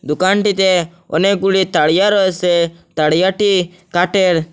দোকানটিতে অনেকগুলি তারিয়া রয়েসে তারিয়াটি কাটের।